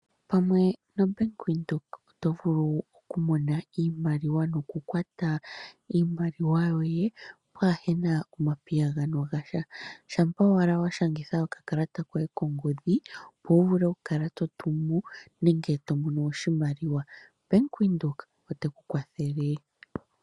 Pamwe nobank Windhoek oto vulu oku mona iimaliwa noku kwata iimaliwa yoye, pwaa hena omapiyagano gasha, shampa owala wa shangitha okakalata koye kongodhi, opo wu vule oku kala to tumu nenge to mono oshimaliwa. Bank Windhoek oteku kwathele.